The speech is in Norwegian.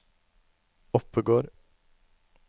Oppegård